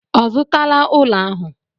Ọ zụtala ụlọ ahụ?